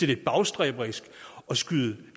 lidt bagstræberisk at skyde